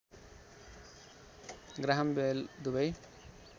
Graham Bell दुबै